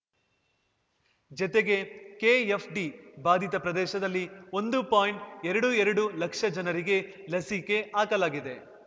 ಜತೆಗೆ ಕೆಎಫ್‌ಡಿ ಬಾಧಿತ ಪ್ರದೇಶದಲ್ಲಿ ಒಂದು ಪಾಯಿಂಟ್ಎರಡು ಎರಡು ಲಕ್ಷ ಜನರಿಗೆ ಲಸಿಕೆ ಹಾಕಲಾಗಿದೆ